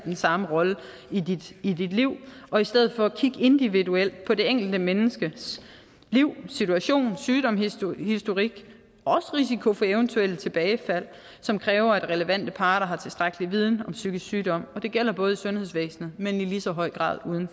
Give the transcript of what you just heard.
samme rolle i dit liv og i stedet for kigge individuelt på det enkelte menneskes liv situation sygdomshistorik og også risiko for eventuelle tilbagefald som kræver at de relevante parter har tilstrækkelig viden om psykisk sygdom og det gælder både i sundhedsvæsenet men i lige så høj grad uden